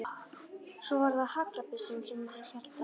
Svo var það haglabyssan sem hann hélt á.